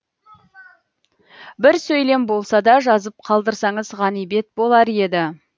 бір сөйлем болса да жазып қалдырсаңыз ғанибет болар еді